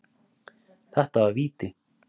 Þetta var víti.